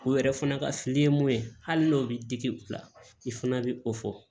O yɛrɛ fana ka fili ye mun ye hali n'o bɛ digi u la i fana bɛ o fɔ